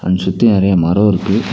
இங்க சுத்தி நெறைய மரோ இருக்கு.